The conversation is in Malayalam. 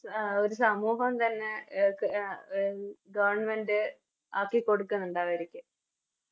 ഒരു സമൂഹം തന്നെ എ ക് ആഹ് Government ആക്കിക്കൊടുക്കുന്നുണ്ട് അവരിക്ക്